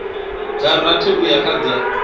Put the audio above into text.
dza rathi uya kha dza